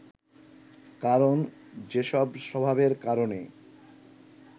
কারণ যেসব স্বভাবের কারণে